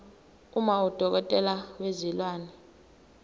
uma udokotela wezilwane